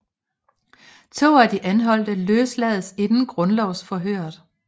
To af de anholdte løslades inden grundlovsforhøret